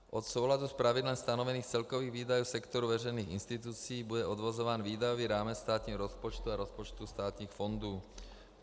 Od souladu s pravidlem stanovených celkových výdajů sektoru veřejných institucí bude odvozován výdajový rámec státních rozpočtů a rozpočtů státních fondů.